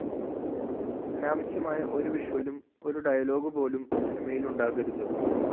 അനാവശ്യമായ ഒരു വിഷ്വലും ഒരു ഡയലോഗുപോലും സിനിമയില്‍ ഉണ്ടാകരുത്